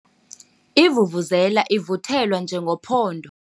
Ivuvuzela ivuthelwa njengophondo.